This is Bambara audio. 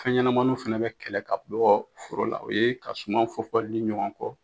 Fɛn ɲɛnamaninw fana bɛ kɛlɛ ka bɔ foro la o ye ka suman fɔfɔli ɲɔgɔn kɔ.